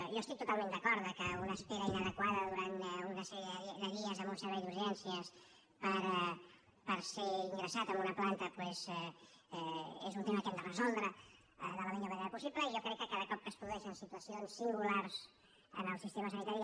jo estic totalment d’acord que una espera inadequada durant una sèrie de dies en un servei d’urgències per ser ingressat en una planta doncs és un tema que hem de resoldre de la millor manera possible i jo crec que cada cop que es produeixen situacions singulars en el sistema sanitari